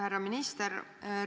Härra minister!